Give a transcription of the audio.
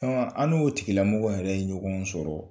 An n'o tigilamɔgɔ yɛrɛ ye ɲɔgɔn sɔrɔ